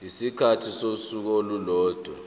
isikhathi sosuku olulodwa